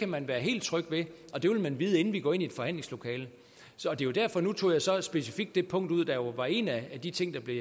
man være helt tryg ved og det vil man vide inden vi går ind i et forhandlingslokale nu tog jeg så specifikt det punkt ud der jo var en af de ting der blev